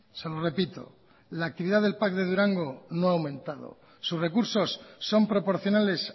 se lo repito la actividad del pac de durango no ha aumentado sus recursos son proporcionales